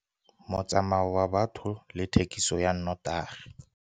Motsamao wa batho le thekiso ya nnotagi